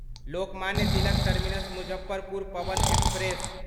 Lokmanya Tilak terminus Muzaffarpur Pawan express